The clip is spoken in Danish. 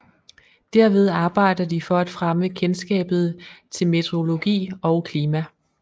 Derved arbejder de for at fremme kendskabet til meteorologi og klima